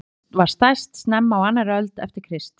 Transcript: Rómaveldi var stærst snemma á annarri öld eftir Krist.